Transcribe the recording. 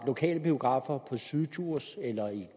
lokale biografer på syddjursland eller i